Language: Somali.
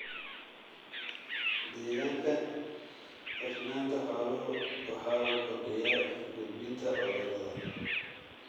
Deegaanka cufnaanta xooluhu waxa uu kordhiyaa gudbinta cudurrada.